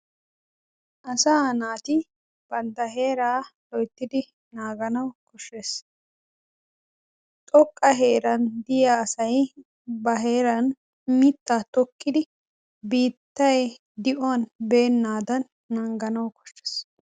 asaa naati bantta heeraa loyttidi naagawu kooshshees. xooqqa heeraan de'iyaa asay ba heeran mittaa tokkidi biittay di'uwaan beennadaan nanganawu koshshees.